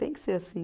Tem que ser assim.